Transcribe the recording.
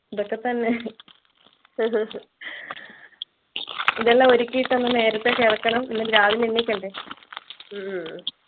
ഇതൊക്കെത്തന്നെ ഇതെല്ലം ഒരുക്കീട്ടു ഒന്ന് നേരത്തെ കിടക്കണം രാവിലെ എണീക്കണ്ട